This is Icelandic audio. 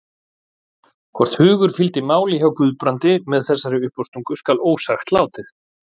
Hvort hugur fylgdi máli hjá Guðbrandi með þessari uppástungu skal ósagt látið.